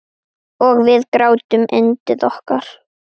Og við grátum yndið okkar.